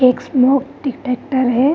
एक smoke detector है |